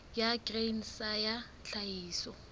ya grain sa ya tlhahiso